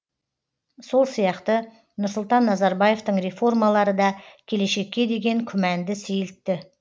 сол сияқты нұрсұлтан назарбаевтың реформалары да келешекке деген күмәнді сейілтті